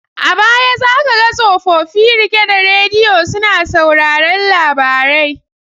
A baya za ka ga tsofofi rike da radiyo suna sauraron labarai.